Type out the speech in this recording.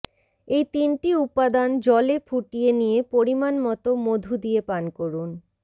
এই তিনটি উপাদান জলে ফুটিয়ে নিয়ে পরিমাণ মত মধু দিয়ে পান করুন